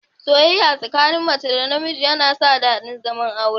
Soyayya tsakanin mace da miji tana sa daɗin zaman aure